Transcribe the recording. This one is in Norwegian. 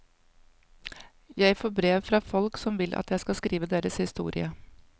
Jeg får brev fra folk som vil at jeg skal skrive deres historie.